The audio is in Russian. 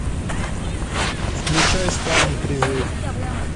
включай спаун призыв